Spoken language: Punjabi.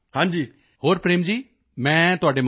ਹੋਰ ਪ੍ਰੇਮ ਜੀ ਮੈਂ ਤੁਹਾਡੇ ਮਾਧਿਅਮ ਨਾਲ